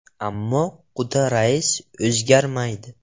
Ammo “quda rais” o‘zgarmaydi.